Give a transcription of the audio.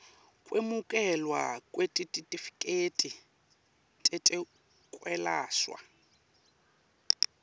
kwemukelwa kwetitifiketi tetekwelashwa